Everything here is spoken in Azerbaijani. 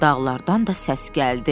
Dağlardan da səs gəldi.